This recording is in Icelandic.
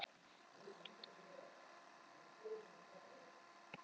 Sameinumst til baráttu gegn óvinum mannfélagsins.